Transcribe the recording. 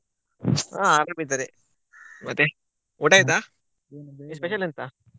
ಹ ಅರಾಮ್ ಇದ್ದಾರೆ ಮತ್ತೆ ಊಟ ಆಯ್ತಾ special ಎಂತಾ?